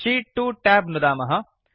शीत् 2 tab नुदामः